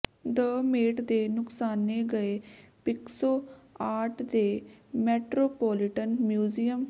ਦ Met ਦੇ ਨੁਕਸਾਨੇ ਗਏ ਪਿਕਸੋ ਆਰਟ ਦੇ ਮੈਟਰੋਪੋਲੀਟਨ ਮਿਊਜ਼ੀਅਮ